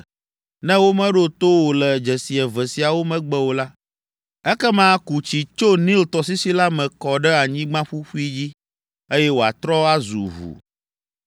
Ne womeɖo to wò le dzesi eve siawo megbe o la, ekema ku tsi tso Nil tɔsisi la me kɔ ɖe anyigba ƒuƒui dzi, eye wòatrɔ azu ʋu.”